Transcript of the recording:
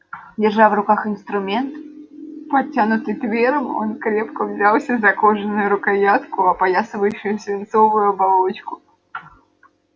держа в руках инструмент протянутый твером он крепко взялся за кожаную рукоятку опоясывающую свинцовую оболочку